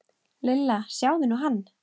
Lilla, sjáðu nú hann.